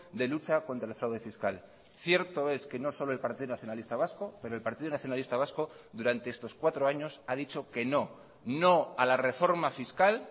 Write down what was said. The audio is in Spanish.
de lucha contra el fraude fiscal cierto es que no solo el partido nacionalista vasco pero el partido nacionalista vasco durante estos cuatro años ha dicho que no no a la reforma fiscal